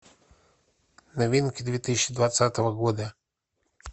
новинки две тысячи двадцатого года